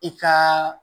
I ka